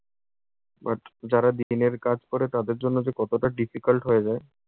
but যারা দিনের কাজ করে তাদের জন্য যে কতটা difficult হয়ে যায়।